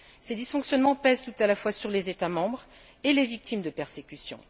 Ces dysfonctionnements pèsent tout à la fois sur les États membres et les victimes de persécutions.